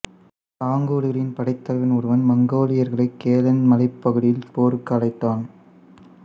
தாங்குடுகளின் படைத்தலைவன் ஒருவன் மங்கோலியர்களைக் கெலன் மலைப் பகுதியில் போருக்கு அழைத்தான்